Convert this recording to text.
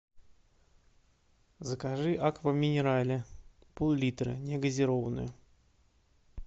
закажи аква минерале пол литра негазированную